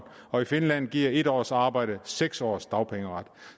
og i finland giver et års arbejde seks års dagpengeret